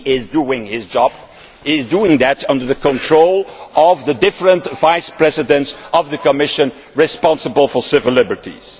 in doing his job, will be under the control of the different Vice Presidents of the Commission responsible for civil liberties.